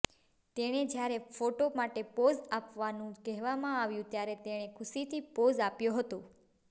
તેને જ્યારે ફોટો માટે પોઝ આપવાનું કહેવામાં આવ્યું ત્યારે તેણે ખુશીથી પોઝ આપ્યો હતો